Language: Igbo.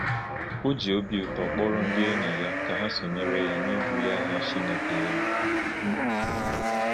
O ji obi ụtọ kpọrọ ndị enyi ya ka ha sonyere ya n’ịbulie aha Chineke elu.